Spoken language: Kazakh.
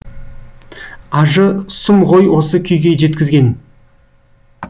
ажы сұм ғой осы күйге жеткізген